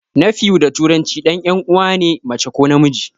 Nephew da turanci ɗan 'yan uwana ne mace ko namiji.